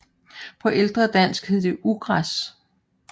På ældre dansk hed det ugræs